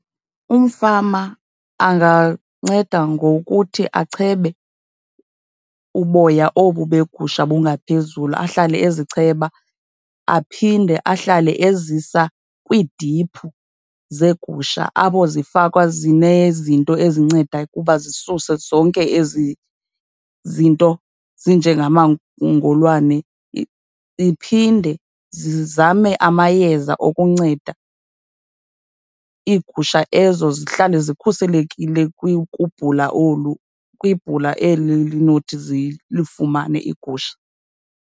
Umfama anganceda ngokuthi achebe uboya obu beegusha bungaphezulu, ahlale ezicheba. Aphinde ahlale ezisa kwiidiphu zeegusha, apho zifakwa zinezinto ezinceda kuba zisuse zonke ezi zinto zinjengamangolwane. Iphinde zizame amayeza okunceda iigusha ezo zihlale zikhuselekile kubhula olu, kwibhula eli linothi zilifumane iigusha.